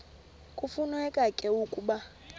kufuneka ke ukuba